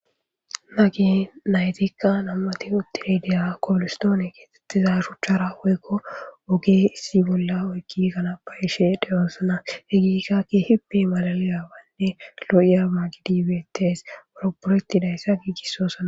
Nagi naytikka nammati uttiredeya koolistoone keetettiza shuchchara woykko woge issi bolla oykki kanapa ishe dheyoosana he giikkakki hipe malalayawanne loo7iya ma gidibettes wuro poroyetidayssa giigissosana.